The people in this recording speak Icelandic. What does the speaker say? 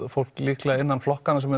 fólk líklega innan flokkanna sem